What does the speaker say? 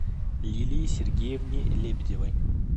лилии сергеевне лебедевой